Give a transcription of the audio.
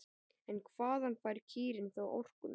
En hvaðan fær kýrin þá orkuna?